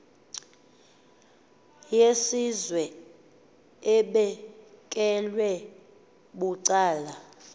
yesizwe ebekelwe bucala